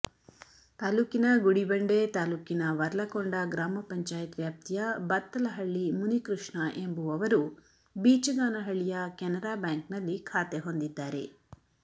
ತಾಲ್ಲೂಕಿನ ಗುಡಿಬಂಡೆ ತಾಲ್ಲೂಕಿನ ವರ್ಲಕೊಂಡ ಗ್ರಾಮ ಪಂಚಾಯತ್ ವ್ಯಾಪ್ತಿಯ ಬತ್ತಲಹಳ್ಳಿ ಮುನಿಕೃಷ್ಣ ಎಂಬುವವರು ಬೀಚಗಾನಹಳ್ಳಿಯ ಕೆನರಾ ಬ್ಯಾಂಕ್ನಲ್ಲಿ ಖಾತೆ ಹೊಂದಿದ್ದಾರೆ